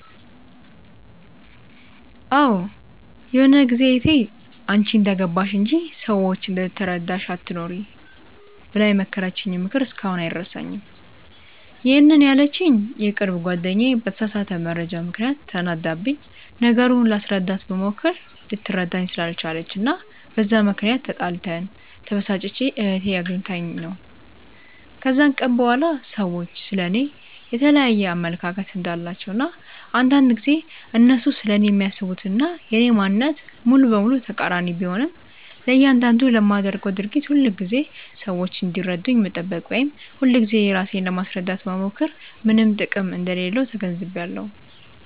አዎ ይሆነ ጊዜ እህቴ "አንቺ እንደገባሽ እንጂ፤ ሰዎች እንደተረዳሽ አትኑሪ" ብላ የመከረችኝ ምክር እስካሁን አይረሳኝም፤ ይሄንን ያለችኝ የቅርብ ጓደኛዬ በተሳሳተ መረጃ ምክንያት ተናዳብኝ፤ ነገሩን ላስረዳት ብሞክር ልትረዳኝ ስላልቻለች እና በዛ ምክንያት ተጣልተን፤ ተበሳጭቼ እህቴ አግኝታኝ ነው። ከዛን ቀን በኋላ ሰዎች ስለ እኔ የየተለያየ አመለካከት እንዳላቸው እና አንዳንድ ጊዜ እነሱ ስለኔ የሚያስቡት እና የኔ ማንነት ሙሉ በሙሉ ተቃሪኒ ቢሆንም፤ ለያንዳንዱ ለማደርገው ድርጊት ሁልጊዜ ሰዎች እንዲረዱኝ መጠበቅ ወይም ሁልጊዜ ራሴን ለማስረዳት መሞከር ምንም ጥቅም እንደሌለው ተገንዝቢያለው።